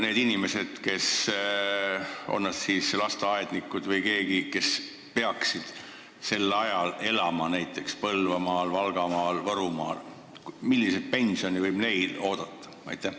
Need inimesed, on nad siis lasteaednikud või mingi muu ameti pidajad, kes elavad Põlvamaal, Valgamaal või Võrumaal – milliseid pensione võivad nad oodata?